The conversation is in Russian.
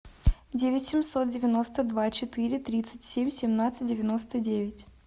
девять семьсот девяносто два четыре тридцать семь семнадцать девяносто девять